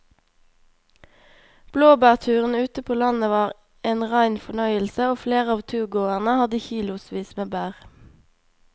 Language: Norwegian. Blåbærturen ute på landet var en rein fornøyelse og flere av turgåerene hadde kilosvis med bær.